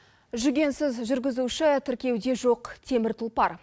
жүгенсіз жүргізуші тіркеуде жоқ темір тұлпар